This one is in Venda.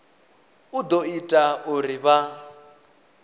u ḓo ita uri vha